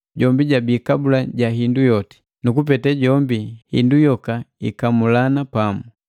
Jombi jabii kabula ja hindu yoti, nu kupete jombi hindu yoka ikamulana pamu.